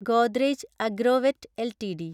Godrej Agrovet LTD